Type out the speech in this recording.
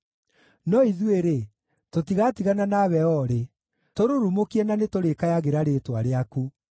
No ithuĩ-rĩ, tũtigatigana nawe o rĩ; tũrurumũkie na nĩtũrĩkayagĩra rĩĩtwa rĩaku.